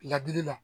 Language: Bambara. Ladili la